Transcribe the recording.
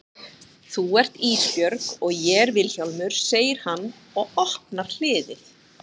Þú ert Ísbjörg og ég er Vilhjálmur, segir hann og opnar hliðið.